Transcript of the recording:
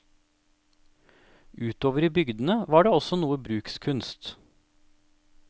Utover i bygdene var det også noe brukskunst.